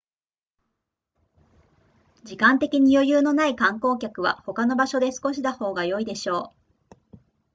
時間的に余裕のない観光客は他の場所で過ごした方が良いでしょう